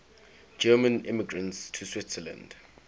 german immigrants to switzerland